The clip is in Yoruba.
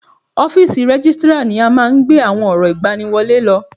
Ọ́físì Rẹ́gìstrar ni a máa ń gbé àwọn ọ̀rọ̀ ìgbani wọlé lọ